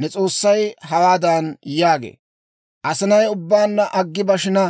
Ne S'oossay hawaadan yaagee; «Asinay ubbaanna aggi bashina,